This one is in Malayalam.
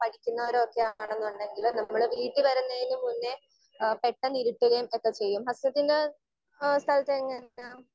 സ്പീക്കർ 1 പഠിക്കുന്നവരോ ഒക്കെ ആണെന്നുണ്ടെങ്കില് നമ്മള് വീട്ടിൽ വരുന്നതിന്ന് മുന്നേ ഏഹ് പെട്ടെന്ന് ഇരിട്ടുകയും ഒക്കെ ചെയ്യും. ഹസനത്തിൻറെ സ്ഥലത്ത് എങ്ങനെയാണ്?